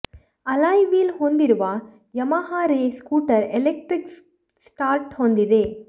alloy wheel ಹೊಂದಿರುವ Yamaha Ray scooter electric start ಹೊಂದಿದೆ